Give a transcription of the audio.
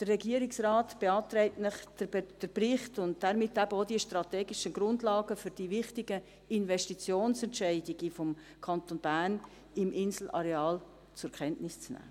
Der Regierungsrat beantragt Ihnen, den Bericht und damit eben auch die strategischen Grundlagen für die wichtigen Investitionsentscheidungen des Kantons Bern im Inselareal zur Kenntnis zu nehmen.